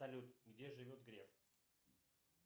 салют где живет греф